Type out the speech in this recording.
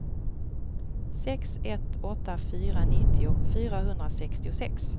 sex ett åtta fyra nittio fyrahundrasextiosex